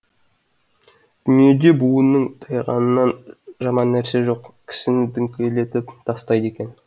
дүниеде буынның тайғанынан жаман нәрсе жоқ кісіні діңкелетіп тастайды екен